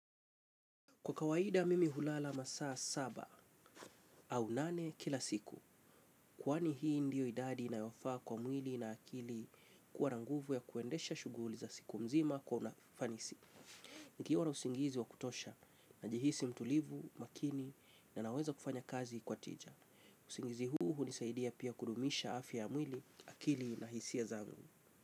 Kwa kawaida mimi hulala masaa saba au nane kila siku. Kwani hii ndiyo idadi inayofaa kwa mwili na akili kuwa na nguvu ya kuendesha shughuli za siku mzima kwa unafanisi. Nikiwa na usingizi wa kutosha najihisi mtulivu, makini na naweza kufanya kazi kwa tija. Usingizi huu hunisaidia pia kudumisha afya ya mwili, akili na hisia zangu.